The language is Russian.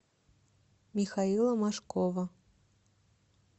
михаила мошкова